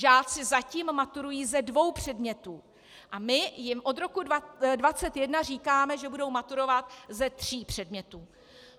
Žáci zatím maturují ze dvou předmětů a my jim od roku 2021 říkáme, že budou maturovat ze tří předmětů.